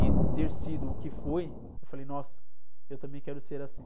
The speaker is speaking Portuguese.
E ter sido o que foi, eu falei, nossa, eu também quero ser assim.